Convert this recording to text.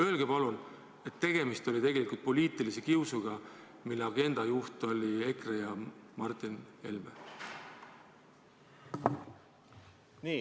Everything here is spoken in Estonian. Öelge palun, et tegemist oli poliitilise kiusuga, mille agenda juht oli EKRE, oli Martin Helme!